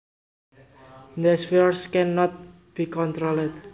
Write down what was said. These fires can not be controlled